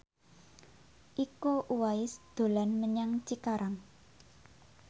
Iko Uwais dolan menyang Cikarang